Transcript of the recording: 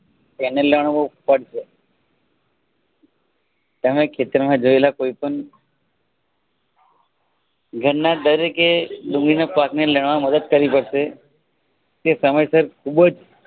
તેને લણવું પડશે તમે ખેતરમાં જોયેલા કોઈપણ ધરના દરેકે ડુંગળીના પાકને લણવનમાં મદદ કરવી પડશે. તે સમય સર ખુબ જ